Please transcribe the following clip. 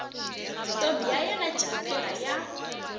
ntombi ya yena jamela ya